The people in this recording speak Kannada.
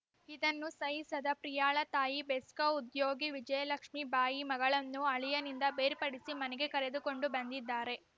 ಇದನ್ನು ಸಹಿಸದ ಪ್ರಿಯಾಳ ತಾಯಿ ಬೇಸ್ಕೌ ಉದ್ಯೋಗಿ ವಿಜಯಲಕ್ಷ್ಮಿ ಬಾಯಿ ಮಗಳನ್ನು ಅಳಿಯನಿಂದ ಬೇರ್ಪಡಿಸಿ ಮನೆಗೆ ಕರೆದುಕೊಂಡು ಬಂದಿದ್ದಾರೆ